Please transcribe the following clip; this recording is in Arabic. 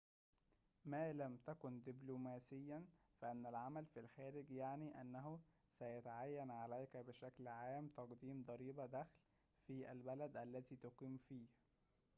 ما لم تكن دبلوماسيًا فإن العمل في الخارج يعني أنه سيتعين عليك بشكلٍ عامٍ تقديم ضريبةِ دخلٍ في البلد الذي تُقيم فيه